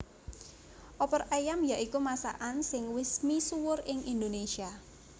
Opor ayam ya iku masakan sing wis misuwur ing Indonésia